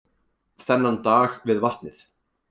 Þennan dag við vatnið.